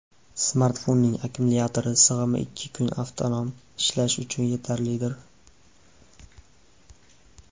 Smartfonning akkumulyatori sig‘imi ikki kun avtonom ishlash uchun yetarlidir.